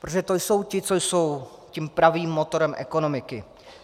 Protože to jsou ti, co jsou tím pravým motorem ekonomiky.